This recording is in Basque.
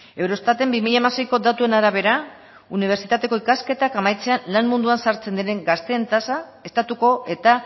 euroestaten bi mila hamaseiko datuen arabera unibertsitateko ikasketak amaitzea lan munduan sartzen diren gazteen tasa estatuko eta